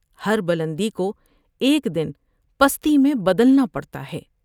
ہر بلندی کو ایک دن پستی میں بدلنا پڑتا ہے ۔